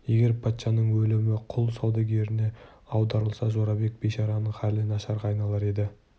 егер патшаның өлімі құл саудагеріне аударылса жорабек бейшараның халі нашарға айналар еді